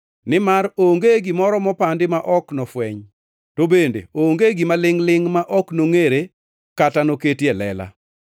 Nimar onge gimoro mopandi ma ok nofweny, to bende onge gima lingʼ-lingʼ ma ok nongʼere kata noket e lela.